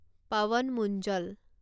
Pawan Munjal